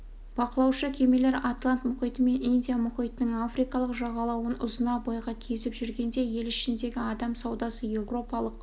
бақылаушы кемелер атлант мұхиты мен индия мұхитының африкалық жағалауын ұзына бойға кезіп жүргенде ел ішіндегі адам саудасы еуропалық